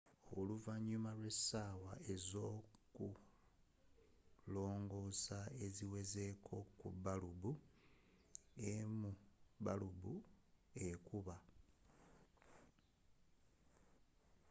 oluvannyuma lw'essaawa z'okulongoosa eziwerako ku balubu emu balubu n'ekuba